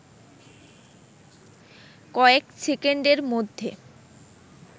কয়েক সেকেন্ডের মধ্যে